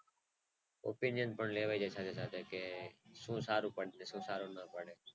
શું સારું પડશે શું સારું નય પડે